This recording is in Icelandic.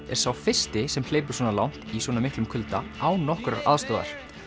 er sá fyrsti sem hleypur svona langt í svona miklum kulda án nokkurrar aðstoðar